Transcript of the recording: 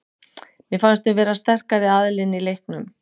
Mér fannst við vera sterkari aðilinn í leiknum.